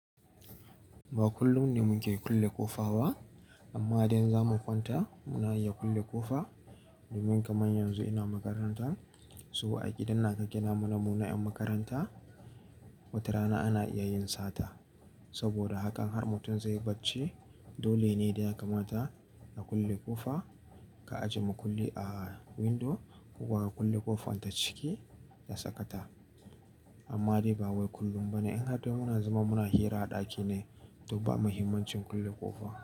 Ba kullum ne muke kulle ƙofa ba amma idan za mu kwanta muna iya kulle ƙofa domin kamar yanzu ina makaranta. Saboda a gidan na ka ƙena mana muna ƴan makaranta watarana ana iya yin sata. Saboda hakan har mutum zai barce dole ne da ya kamata ka kulle ƙofa, ka ajiye makulli a windo ko kuma ka kulle ƙofar ta ciki ka saka ta. Amma dai ba wai kullum ba ne, in har dai muna zama muna hira a ɗaki ne, to ba muhimmancin kulle ƙofa.